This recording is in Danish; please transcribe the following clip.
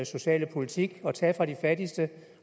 sociale politik at tage fra de fattigste